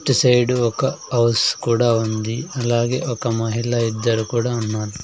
ఇటు సైడ్ ఒక హౌస్ కూడా ఉంది అలాగే ఒక మహిళా ఇద్దరు కూడా ఉన్నారు.